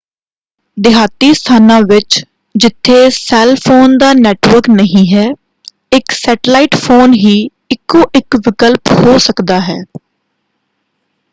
ਦਿਹਾਤੀ ਸਥਾਨਾਂ ਵਿੱਚ ਜਿੱਥੇ ਸੈੱਲ ਫੋਨ ਦਾ ਨੈੱਟਵਰਕ ਨਹੀਂ ਹੈ ਇਕ ਸੈਟਲਾਈਟ ਫੋਨ ਹੀ ਇਕੋ ਇਕ ਵਿਕਲਪ ਹੋ ਸਕਦਾ ਹੈ।